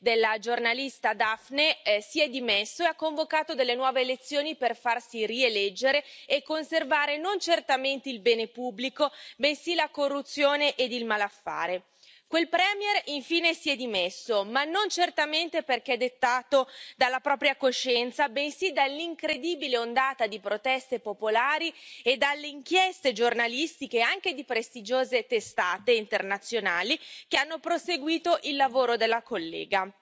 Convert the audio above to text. della giornalista Daphne si è dimesso e ha convocato nuove elezioni per farsi rieleggere e conservare, non certamente il bene pubblico, bensì la corruzione ed il malaffare. Quel premier, infine, si è dimesso, ma non certamente perché spinto dalla propria coscienza, bensì dall'incredibile ondata di proteste popolari e dalle inchieste giornalistiche anche di prestigiose testate internazionali, che hanno proseguito il lavoro della collega.